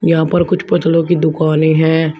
यहां पर कुछ पुतलों की दुकानें हैं।